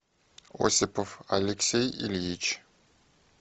осипов алексей ильич